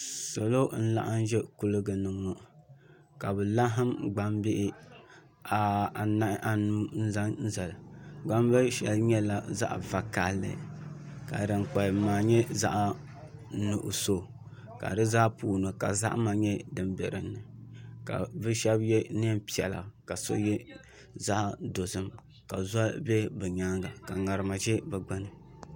Salo n laɣam ʒɛ kuligi ni ŋɔ ka bi laɣam gbambihi anu zaŋ zali gbambili shɛli nyɛla zaɣ vakaɣali ka din kpalim maa nyɛ zaɣ nuɣso ka di zaa puuni ka zahama nyɛ din biɛni ka bi so yɛ neen piɛla ka so yɛ zaɣ dozim ka zoli bɛ ni nyaanga ka ŋarima ʒɛ bi gbuni